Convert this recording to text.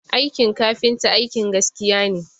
Aikin kafinta aikin gaskiya ne